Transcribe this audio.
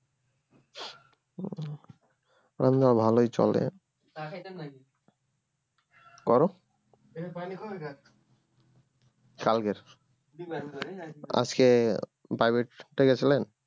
না না ভালোই চলে আহ আজকে private টা গেছিলেন?